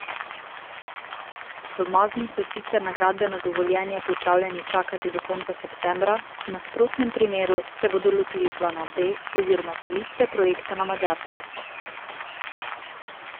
V Magni so sicer na gradbeno dovoljenje pripravljeni čakati do konca septembra, v nasprotnem primeru se bodo lotili plana B oziroma selitve projekta na Madžarsko.